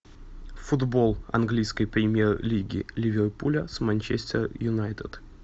футбол английской премьер лиги ливерпуля с манчестер юнайтед